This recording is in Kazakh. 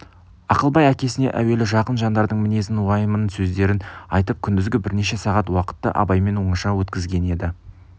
ақылбай әкесіне әуелі жақын жандардың мінезін уайымын сөздерін айтып күндізгі бірнеше сағат уақытты абаймен оңашада өткізген еді